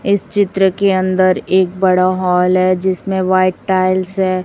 इस चित्र के अंदर एक बड़ा हॉल है जिसमें व्हाइट टाइल्स है।